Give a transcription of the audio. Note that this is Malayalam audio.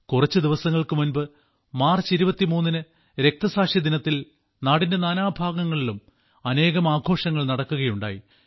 കുറച്ചു ദിവസങ്ങൾക്കു മുൻപ് മാർച്ച് 23 ന് രക്തസാക്ഷി ദിനത്തിൽ നാടിന്റെ നാനാ ഭാഗങ്ങളിലും അനേകം ആഘോഷങ്ങൾ നടക്കുകയുണ്ടായി